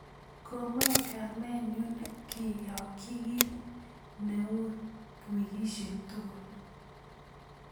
komoe kamenyun keyokyi kin ne u wikisyek tugul